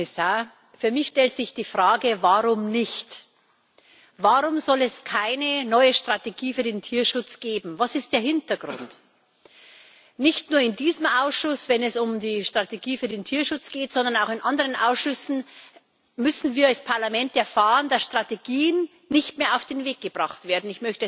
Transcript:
Frau Präsidentin, sehr geehrter Herr Kommissar! Für mich stellt sich die Frage Warum nicht? Warum soll es keine neue Strategie für den Tierschutz geben? Was ist der Hintergrund? Nicht nur in diesem Ausschuss, wenn es um die Strategie für den Tierschutz geht, sondern auch in anderen Ausschüssen müssen wir als Parlament erfahren, dass Strategien nicht mehr auf den Weg gebracht werden.